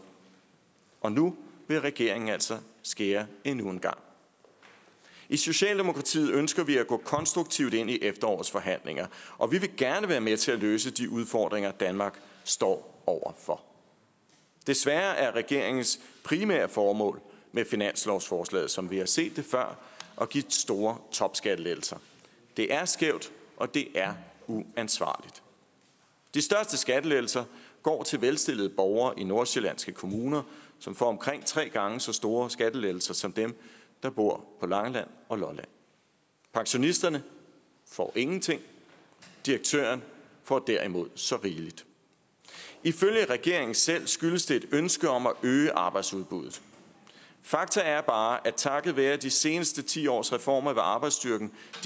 og nu vil regeringen altså skære endnu en gang i socialdemokratiet ønsker vi at gå konstruktivt ind i efterårets forhandlinger og vi vil gerne være med til at løse de udfordringer danmark står over for desværre er regeringens primære formål med finanslovsforslaget som vi har set det før at give store topskattelettelser det er skævt og det er uansvarligt de største skattelettelser går til velstillede borgere i nordsjællandske kommuner som får omkring tre gange så store skattelettelser som dem der bor på langeland og lolland pensionisterne får ingenting direktøren får derimod så rigeligt ifølge regeringen selv skyldes det et ønske om at øge arbejdsudbuddet fakta er bare at takket være de seneste ti års reformer vil arbejdsstyrken